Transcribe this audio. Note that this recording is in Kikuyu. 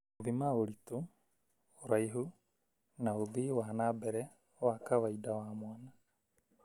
gũthima ũritũ, ũraihu, na ũthii wa na mbere wa kawaida wa mwana.